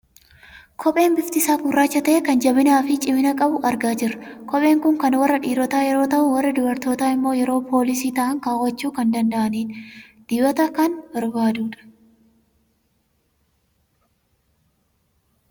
Kophee bifti isaa gurraacha ta'e, kan jabinaa fi cimina qabu argaa jirra. Kopheen kun kan warra dhiirotaa yeroo ta'u, warri dubartootaa immoo yeroo poolisii ta'an kaawwachuu kan danda'anidha. Dibata kan barbaadudha.